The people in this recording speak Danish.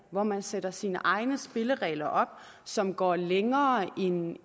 hvor man sætter sine egne spilleregler op som går længere end